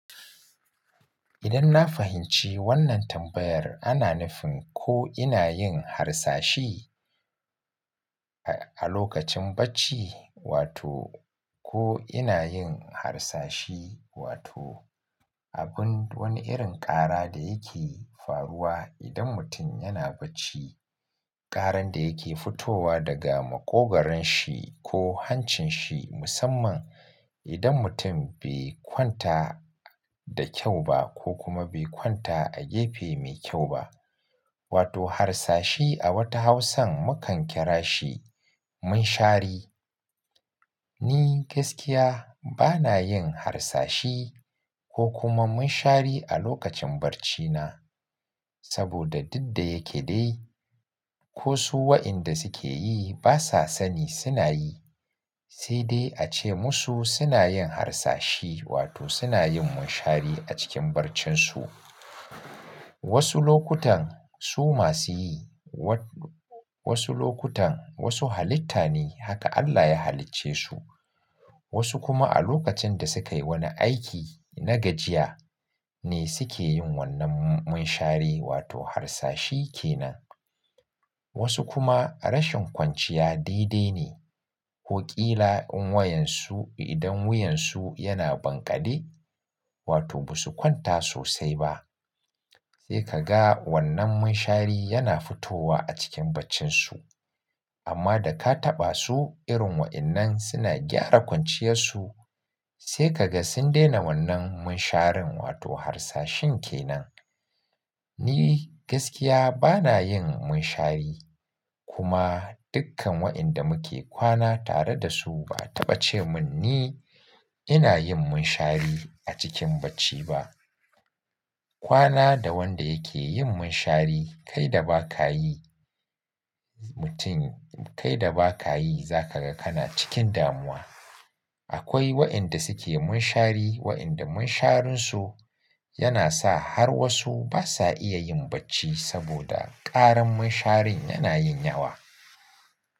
Idan na fahimci wannan tambayar ana nufin ko ina yin harsashi a lokacin bacci wato ko ina yin harsashi wato abun wani irin ƙara da yake faruwa idan mutum yana bacci. Karan da yake fitowa daga makogaron shi ko hancin shi musamman idan mutum bai kwanta da kyau ba ko kuma bai kwanta a gefe mai kyau ba. Wato harsashi a wata Hausan mukan kira shi munshari. Ni gaskiya bana yin harsashi ko kuma munshari a lokacin barcina. Saboda duk da yake dai ko su waɗanda suke yi basa sani suna yi. Sai dai ace musu suna yin harsashi wato suna yin munshari a cikin barcinsu. Wasu lokutan su masu yi. Wa-wasu lokutan wasu halitta ne haka Allah ya halicce su. Wasu kuma a lokacin da sukayi wani aiki na gajiya ne suke yin wannan m-munshari wato harsashi kenan. Wasu kuma rashin kwanciya daidai ne. Ko ƙila in wayan su idan wuyansu yana banƙade wato basu kwanta sosai ba. Sai ka ga wannan munshari yana fitowa a cikin baccinsu. Amma da ka taɓa su irin waɗannan suna gyara kwanciyarsu sai kaga sun daina wannan munsharin wato harsashin kenan. Ni gaskiya bana yin munshari. Kuma dukkan waɗanda muke kwana tare da su ba a taɓa ce mun ni ina yin munshari a cikin bacci ba. Kwana da wanda yake yin munshari kai da ba ka yi mutum kai da ba ka yi za ka ga kana cikin damuwa. Akwai wa'yanda suke munshari wa'yanda munsharinsu yana sa har wasu basa iya yin bacci saboda karan munsharin yana yin yawa.